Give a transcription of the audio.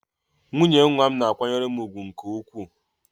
Nwunye nwa m na-akwanyere m ùgwù nke ukwuu.